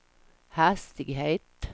hastighet